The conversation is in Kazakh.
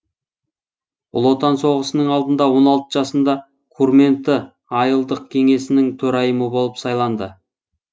ұлы отан соғысының алдында он алты жасында курменты айылдық кеңесінің төрайымы болып сайланды